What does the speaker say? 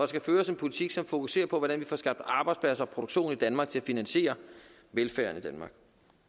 skal føres en politik som fokuserer på hvordan vi får skabt arbejdspladser og produktion i danmark til at finansiere velfærden